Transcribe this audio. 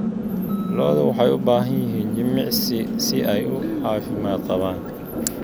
Lo'du waxay u baahan yihiin jimicsi si ay u caafimaad qabaan.